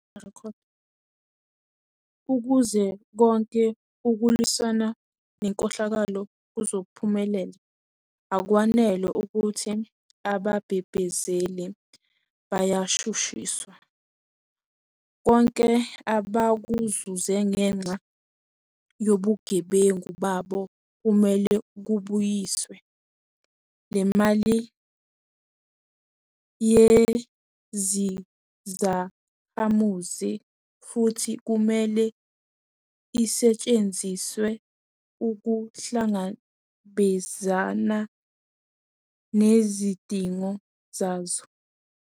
Ukuze konke ukulwisana nenkohlakalo kuzophumelela, akwanele ukuthi ababhebhezeli bayashu shiswa. Konke abakuzuze ngenxa yobugebengu babo kumele kubuyiswe. Le mali ngeyezakhamuzi futhi kumele isetshenziselwe ukuhlangabezana nezidingo zazo.